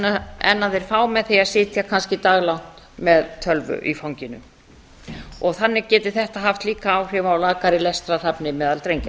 aflraunir en þeir fá með því að sitja kannski daglangt með tölvu í fanginu þannig geti þetta líka haft áhrif á lakari lestrarhæfni meðal drengja